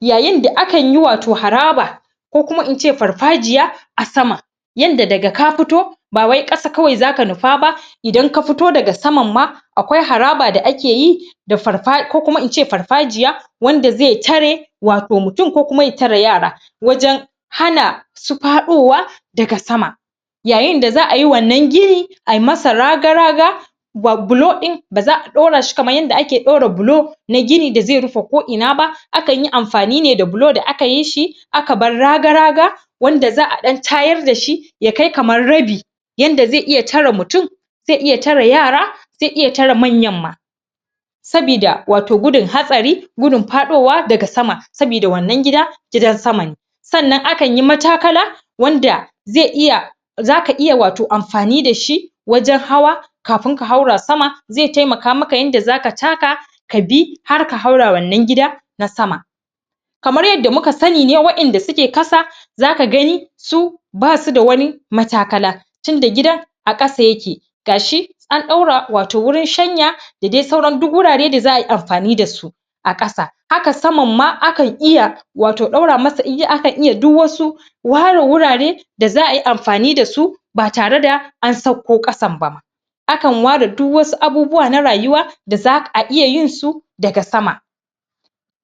yayin da akan yi wato haraba ko kuma in ce farfajiya a sama yadda daka fito bawai ƙasa kawai zaka nufa ba idan ka fito daga saman ma akwai haraba da ake yi da farfa ko kuma in ce farfajiya wanda zai tare wato mutum ko kuma ya tare yara wajan hana su faɗuwa daga sama yayin da za'a yi wannan gini ayi masa raga-raga bulu ɗin baza ɗora shi kamar yadda za'a ɗora bulu na gini da zai rufe ko'ina ba, akan yi amfani ne da bulu da aka yi shi ka bar raga-raga wanda za'a ɗan tayar dashi ya kai kamar rabi yadda zai iya tare mutum zai iya tare yara, zai iya tare manya ma sabida wato gudun hatsari, gudun faɗuwa daga sama sabida wannan gida, gidan sama ne sannan akan yi matakala wanda zai iya zaka iya ato amfani dashi wajan hawa kafin ka haura sama zai taimaka maka yadda zaka taka kabi har ka haura wannan gida na sama kamar yadda muka sani ne wa'yanda suke ƙasa zaka gani su basu da wani matakala tunda gidan a ƙasa yake gashi an ɗaura wato wurin shanya da dai sauran duk wurare da za'a yi amfani dasu a ƙasa hakan saman ma akan iya wato ɗaura masa ijiya, akan iya duk wasu ware wurare da za'a yi amfani dasu ba tare da an sauƙo ƙasan bama akan ware duk wasu abubuwa na rayuwa da za'a iya yin su daga sama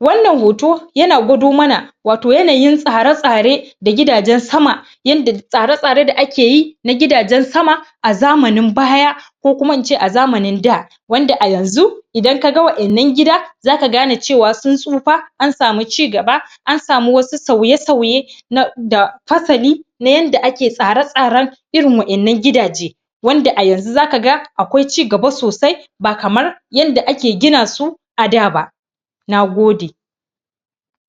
wannan hoto yana gwado mana wato yanayin tsare-tsare da gidagen sama yadda tsare-tsare da ake yi na gidajen sama a zamanin baya ko kuma in ce a zamanin da wanda a yanzu, idan kaga wa'yan nan gida zaka gane cewa sun tsufa an samu cigaba, an samu wasu sauye-sauye na, da fasali na yadda ake tsare-tsaren irin wa'yan nan gidaje wanda a yanzu zaka ga, akwai cigaba sosai, ba kamar yadda ake gina su a da ba. Nagode.